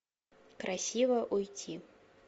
красиво уйти